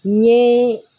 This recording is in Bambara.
N ye